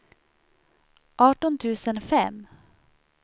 arton tusen fem